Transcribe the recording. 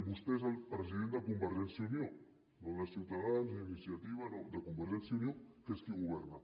i vostè és el president de convergència i unió no de ciutadans ni d’iniciativa no de convergència i unió que és qui governa